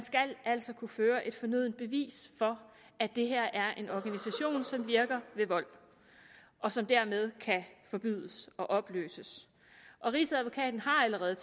altså skal kunne føre et fornødent bevis for at det her er en organisation som virker ved vold og som dermed kan forbydes og opløses rigsadvokaten har allerede